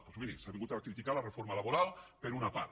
doncs miri s’ha vingut a criticar la reforma laboral per una part